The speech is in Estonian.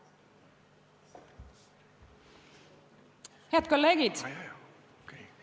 Head kolleegid!